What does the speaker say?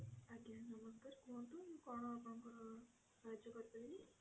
ଆଜ୍ଞା ନମସ୍କାର କୁହନ୍ତୁ ମୁଁ କଣ ଆପଣଙ୍କର ସାହାଯ୍ୟ କରି ପାରିବି?